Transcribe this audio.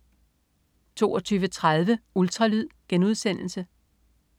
22.30 Ultralyd*